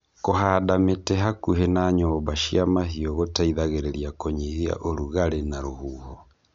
Kũhanda mĩtĩ hakuhĩ na nyũmba cia mahiũ gũteithagĩrĩria kũnyihia ũrugarĩ na rũhuho.